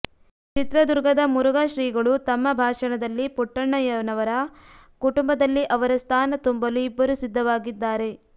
ಚಿತ್ರದುರ್ಗದ ಮುರುಘಾ ಶ್ರೀಗಳು ತಮ್ಮ ಭಾಷಣದಲ್ಲಿ ಪುಟ್ಟಣ್ಣಯ್ಯನವರ ಕುಟುಂಬದಲ್ಲಿ ಅವರ ಸ್ಥಾನ ತುಂಬಲು ಇಬ್ಬರು ಸಿದ್ಧವಾಗಿದ್ದಾರೆ